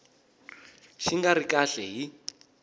xi nga ri kahle hi